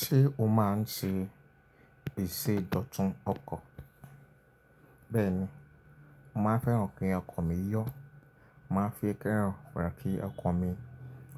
Ṣé o máa ń se ìsèdọ̀tún ọkọ̀? Bẹ́ẹ̀ni, màá n fẹ́ràn kí ọkọ̀ mi yọ̀, màá fi kẹran ra ki ọkan mi